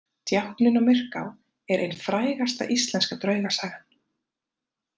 Djákninn á Myrká er ein frægasta íslenska draugasagan.